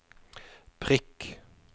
prikk